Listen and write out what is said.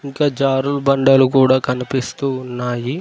ఇంకా జరుడు బండలు కూడా కనిపిస్తూ ఉన్నాయి.